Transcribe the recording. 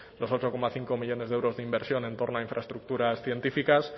los ocho coma cinco millónes de euros de inversión en torno a infraestructuras científicas